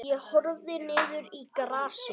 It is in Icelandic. Ég horfði niður í grasið.